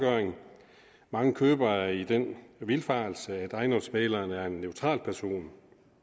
mange købere er i den vildfarelse at ejendomsmægleren er en neutral person